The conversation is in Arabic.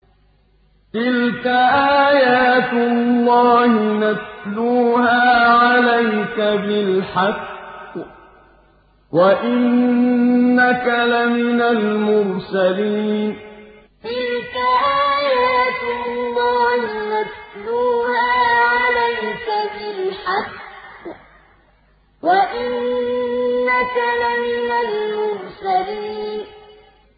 تِلْكَ آيَاتُ اللَّهِ نَتْلُوهَا عَلَيْكَ بِالْحَقِّ ۚ وَإِنَّكَ لَمِنَ الْمُرْسَلِينَ تِلْكَ آيَاتُ اللَّهِ نَتْلُوهَا عَلَيْكَ بِالْحَقِّ ۚ وَإِنَّكَ لَمِنَ الْمُرْسَلِينَ